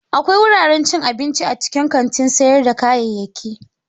Akwai wuraren cin abinci a cikin kantin sayar da kayayyaki.